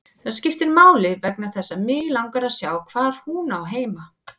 Það skiptir máli vegna þess að mig langar að sjá hvar hún á heima.